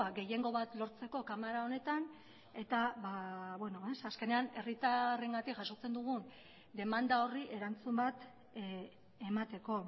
gehiengo bat lortzeko kamara honetan eta azkenean herritarrengatik jasotzen dugun demanda horri erantzun bat emateko